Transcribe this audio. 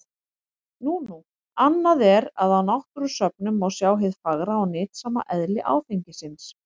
Nú nú, annað er að á náttúrusöfnum má sjá hið fagra og nytsama eðli áfengisins.